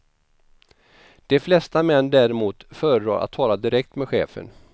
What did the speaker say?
De flesta män däremot föredrar att tala direkt med chefen.